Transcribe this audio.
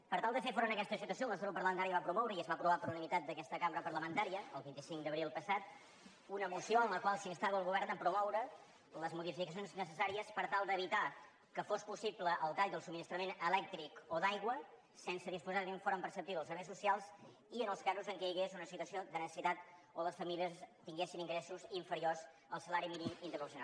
per tal de fer front a aquesta situació el nostre grup parlamentari va promoure i es va aprovar per unanimitat d’aquesta cambra parlamentària el vint cinc d’abril passat una moció en la qual s’instava el govern a promoure les modificacions necessàries per tal d’evitar que fos possible el tall del subministrament elèctric o d’aigua sense disposar d’un informe preceptiu dels serveis socials i en els casos en què hi hagués una situació de necessitat o les famílies tinguessin ingressos infe riors al salari mínim interprofessional